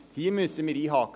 Hier müssen wir einhaken.